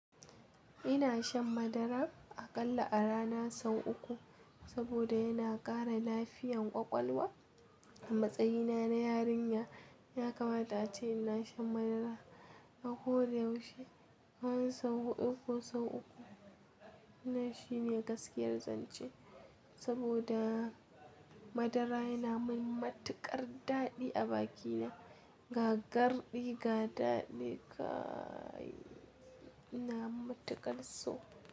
Ina shan madara aƙalla a rana sau uku saboda yana ƙara lafiyan ƙwaƙwalwa. Matsayina na yarinya ya kamata ace ina shan madara a ko da yaushe. Kaman sau huɗu ko sau uku wannan shine gaskiyar zance saboda madara yana mun matuƙar daɗi a bakina. Ga garɗi ga daɗi kaii! Ina matuƙar so.